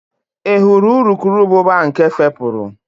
Ị hụrụ urukurubụba nke fepụrụ?